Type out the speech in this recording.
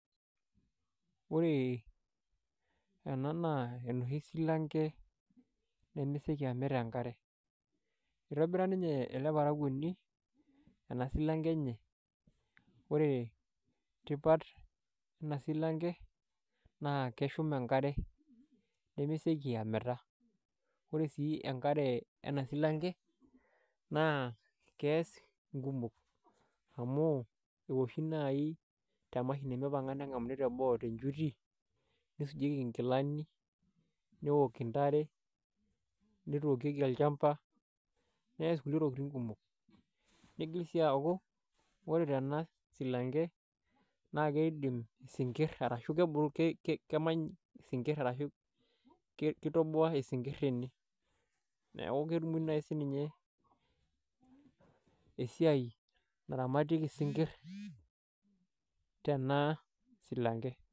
Ore ena naa enoshi silanke nemesioki amit enkare. Itobira ninye ele parakuoni ena silanke enye . Ore tipat ena silanke naa keshum enkare , nemesioki amita . Ore sii enkare ena silanke naa keas inkumok , amu eoshi naji te mashini mipang'a neng'amuni teboo tidie wueji nisujieki nkilani ,neok intare, nitookieki olchamba neas intokitin kumok. Nigil sii aaku ore tena silanke naa kidim isinkir arashu kemany isinkir arashu keitoboa isinkir tene , neeku ketumi nai sininye esiai naramatieki isinkir tena silanke.